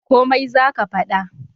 Komai za ka fada?